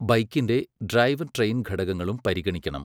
ബൈക്കിന്റെ drive train ഘടകങ്ങളും പരിഗണിക്കണം.